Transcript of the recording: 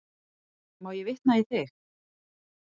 Má ég vitna í þig?